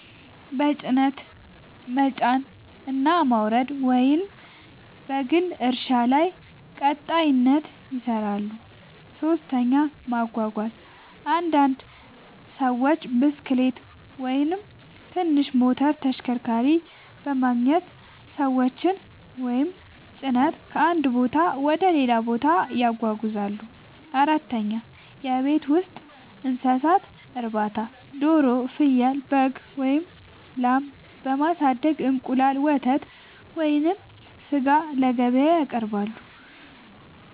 በጭነት መጫንና ማውረድ፣ ወይም በግል እርሻ ላይ ቀጣሪነት ይሠራሉ። 3. ማጓጓዝ – አንዳንድ ሰዎች ብስክሌት ወይም ትንሽ ሞተር ተሽከርካሪ በማግኘት ሰዎችን ወይም ጭነት ከአንድ ቦታ ወደ ሌላ ያጓጉዛሉ። 4. የቤት ውስጥ እንስሳት እርባታ – ዶሮ፣ ፍየል፣ በግ ወይም ላም በማሳደግ እንቁላል፣ ወተት ወይም ሥጋ ለገበያ ያቀርባሉ።